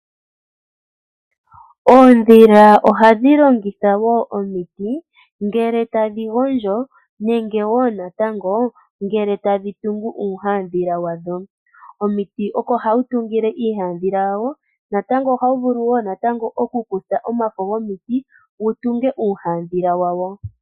Oondhila ohadhi longitha woo omiti ngele tadhi gondjo nenge woo natango, ngele tadhi tungu uuhadhila wadho. Omiti oko hawu tungile iihadhila yawo, natango oha wu vulu woo natango oku kutha omafo gomiti wutunge iihadhila yawo.